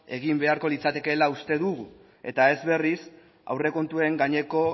egin behar litzatekeela uste dugu eta ez berriz aurre kontuen gaineko